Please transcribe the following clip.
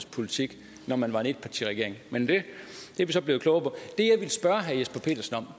politik når man var en etpartiregering men det er vi så blevet klogere på